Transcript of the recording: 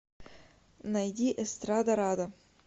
найди эстрадарада